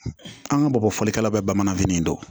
An ka bamabɔ fɔlikɛla bɛɛ bamanankan fini don